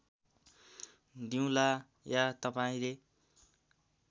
दिउँला या तपाईँले